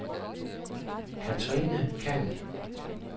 Cathrine Khan